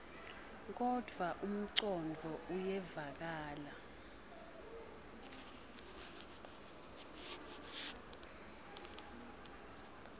kodvwa umcondvo uyevakala